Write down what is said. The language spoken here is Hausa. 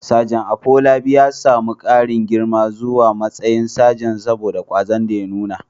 Sajan Afolabi ya samu ƙarin girma zuwa matsayin sajan saboda ƙwazon da ya nuna.